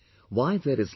Why there is life